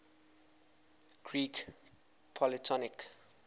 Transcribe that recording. greek polytonic